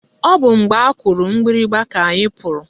Ọ bụ mgbe akụrụ mgbịrịgba ka anyị pụrụ